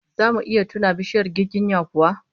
Zamu iya tuna bishiyar giginya kuwa?